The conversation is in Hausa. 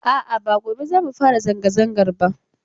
A'a, ba gobe za mu fara zanga-zangar ba.